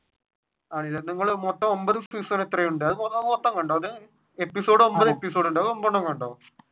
ആണല്ലേ നിങ്ങൾ മൊത്തം ഒൻപത് എത്രയുണ്ട് മൊത്തം കണ്ടോ അത് എപ്പിസോഡ് ഒൻപത് എപ്പിസോഡ് ഉണ്ട് അത് ഒമ്പതെണ്ണം കണ്ടോ?